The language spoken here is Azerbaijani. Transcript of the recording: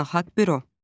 Beynəlxalq büro.